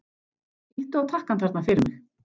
Ýttu á takkann þarna fyrir mig.